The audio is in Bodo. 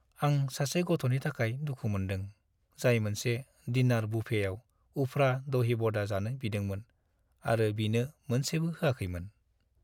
आं सासे गथ'नि थाखाय दुखु मोन्दों, जाय मोनसे डिनार बुफेआव उफ्रा दही बडा जानो बिदोंमोन आरो बिनो मोनसेबो होआखैमोन।